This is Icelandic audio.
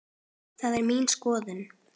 Það er mín skoðun.